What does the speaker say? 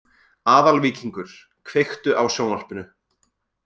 Aðalvíkingur, kveiktu á sjónvarpinu.